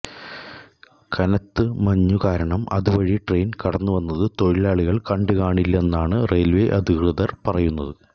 കനത്ത് മഞ്ഞു കാരണം അതുവഴി ട്രെയിൻ കടന്നുവന്നത് തൊഴിലാളികൾ കണ്ടുകാണില്ലെന്നാണ് റെയിൽവേ അധികൃതർ പറയുന്നത്